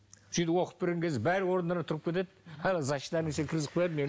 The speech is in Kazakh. сөйтіп оқып берген кезде бәрі орындарынан тұрып кетеді кіргізіп қояды